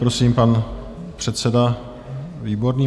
Prosím, pan předseda Výborný.